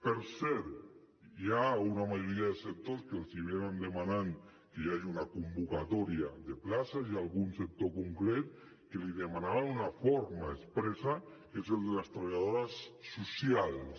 per cert hi ha una majoria de sectors que els venen demanant que hi hagi una convocatòria de places i algun sector concret que l’hi demanava d’una forma expressa que és el de les treballadores socials